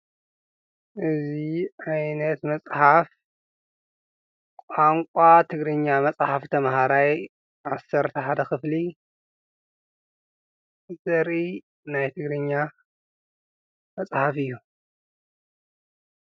እዚ ዓይነት መፅሓፍ ቋንቋ ትግርኛ መፅሓፍ ተምሃራይ ዓሰርተ ሓደ ክፍሊ ዘርኢ ናይ ትግርኛ መፅሓፍ እዩ።